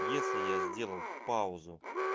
если я сделал паузу